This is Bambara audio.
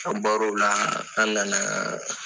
An bɔr'ala an nana